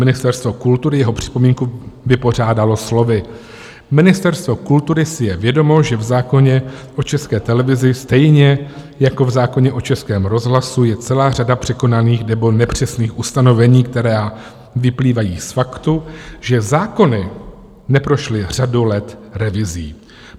Ministerstvo kultury jeho připomínku vypořádalo slovy: Ministerstvo kultury si je vědomo, že v zákoně o České televizi stejně jako v zákoně o Českém rozhlasu je celá řada překonaných nebo nepřesných ustanovení, která vyplývají z faktu, že zákony neprošly řadu let revizí.